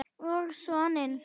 Og soninn